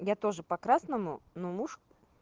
я тоже по красному но муж